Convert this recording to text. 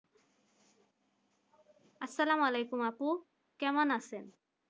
আসসালাম আলাইকুম আপু কেমন আছেন?